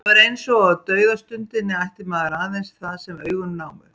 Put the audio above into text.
Það var eins og á dauðastundinni ætti maður aðeins það sem augun námu.